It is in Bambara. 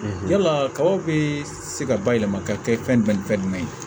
Yala kabaw bɛ se ka bayɛlɛma ka kɛ fɛn jumɛn ni fɛn jumɛn ye